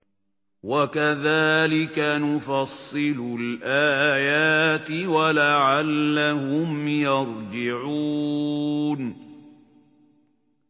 وَكَذَٰلِكَ نُفَصِّلُ الْآيَاتِ وَلَعَلَّهُمْ يَرْجِعُونَ